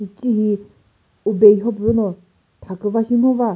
hicehi ube yhopüno thaküva she ngo va.